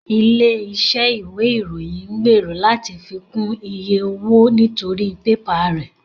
Ilé iṣẹ́ ìwé ìròyìn ń gbèrò láti fi kún iye owó nítorí pẹ́pà rẹ̀